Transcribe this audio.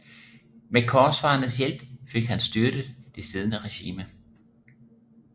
Med korsfarernes hjælp fik han styrtet det siddende regime